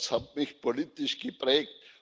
Das hat mich politisch geprägt.